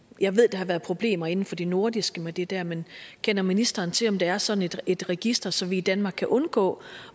jeg ved der har været problemer inden for de nordiske lande med det der men kender ministeren til om der er sådan et et register så vi i danmark kan undgå